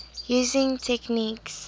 using techniques